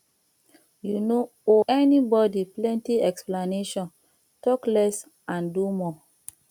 you no owe anybody plenty explaintion talk less and do more